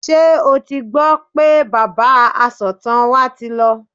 Ṣé o ti gbọ́ pé bàbá asọ̀tàn wa ti lọ?